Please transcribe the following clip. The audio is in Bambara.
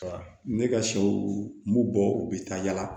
Ne ka sɛw b'u bɔ u bɛ taa yala